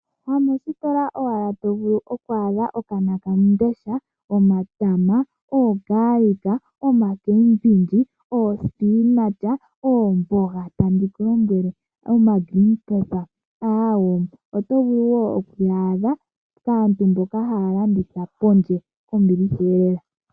Ha moostola owala to a dha okanakandesha, omatama, oogaalika, oma cabbage, oo spinach, okmboga tandi ku lombwele oma green pepper, awoo oto vulu woo oku yaadha kaantu mboka haya landitha pondje kombiliha eelela.